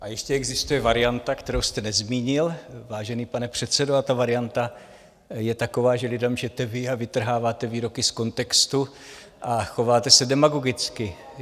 A ještě existuje varianta, kterou jste nezmínil, vážený pane předsedo, a ta varianta je taková, že lidem lžete vy, vytrháváte výroky z kontextu a chováte se demagogicky.